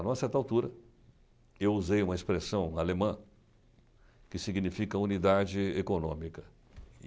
Em uma certa altura, eu usei uma expressão alemã que significa unidade econômica.